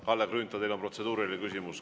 Kalle Grünthal, teil on protseduuriline küsimus.